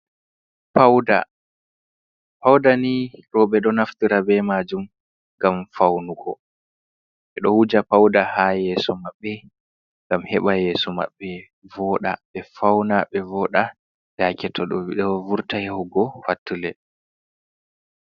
Pauda, pauda ni rooɓe ɗo naftira be majum ngam faunugo, ɓe ɗo wuja pauda ha yeeso maɓɓe ngam heɓa yeeso maɓɓe vooda, ɓe fauna be vooɗa yaake to ɓe ɗo vurta yahugo pattule.